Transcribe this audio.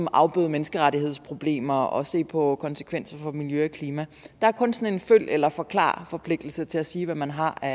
afbøde menneskerettighedsproblemer og se på konsekvenser for miljø og klima der er kun sådan en følg eller forklar forpligtelse til at sige hvad man har af